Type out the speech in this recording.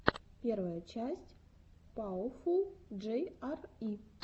первая часть пауэфул джей ар и